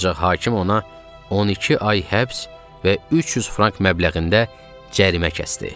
Ancaq hakim ona 12 ay həbs və 300 frank məbləğində cərimə kəsdi.